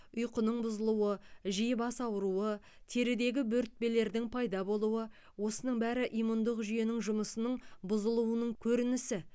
ұйқының бұзылуы жиі бас ауруы терідегі бөртпелердің пайда болуы осының бәрі иммундық жүйенің жұмысының бұзылуының көрінісі